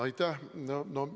Aitäh!